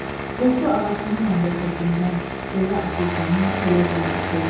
Qovdu ağasını məmləkətindən, kölə Afrikanın kölə zəncisi.